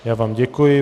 Já vám děkuji.